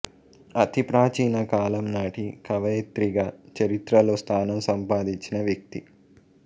అతి ప్రాచీన కాలం నాటి కవయిత్రిగా చరిత్రలో స్థానం సంపాదించిన వ్యక్తి